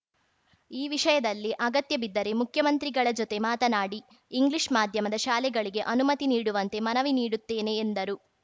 ಈ ವಿಷಯದಲ್ಲಿ ಅಗತ್ಯ ಬಿದ್ದರೆ ಮುಖ್ಯಮಂತ್ರಿಗಳ ಜೊತೆ ಮಾತನಾಡಿ ಇಂಗ್ಲಿಷ್‌ ಮಾಧ್ಯಮದ ಶಾಲೆಗಳಿಗೆ ಅನುಮತಿ ನೀಡುವಂತೆ ಮನವಿ ಮಾಡುತ್ತೇನೆ ಎಂದರು